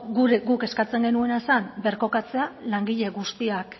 guk eskatzen genuena zen birkokatzea langile guztiak